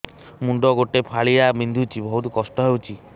ମୁଣ୍ଡ ଗୋଟେ ଫାଳିଆ ବିନ୍ଧୁଚି ବହୁତ କଷ୍ଟ ହଉଚି